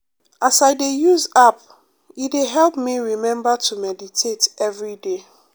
as i dey use app e dey help me remember to meditate every day.